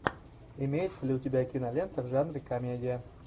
имеется ли у тебя кинолента в жанре комедия